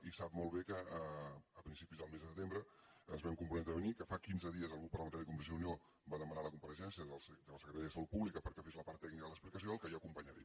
i sap molt bé que a principis del mes de setembre ens vam comprometre a venir que fa quinze dies el grup parlamentari de convergència i unió va demanar la compareixença del secretari de salut pública perquè fes la part tècnica de l’explicació al qual jo acompanyaré